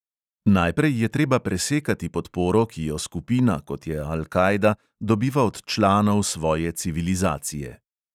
Najprej je treba presekati podporo, ki jo skupina, kot je al kaida, dobiva od članov svoje civilizacije.